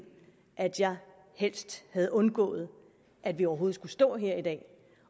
at jeg helst havde undgået at vi overhovedet skulle stå her i dag